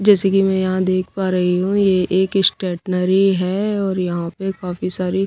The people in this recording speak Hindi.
जैसे कि मैं यहां देख पा रही हूं ये एक स्टेटनरी है और यहां पे काफी सारी--